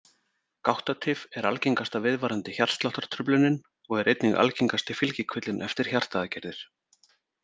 Gáttatif er algengasta viðvarandi hjartsláttartruflunin og er einnig algengasti fylgikvillinn eftir hjartaaðgerðir.